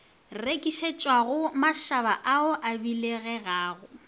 rekišetšwago mašaba a a biloganago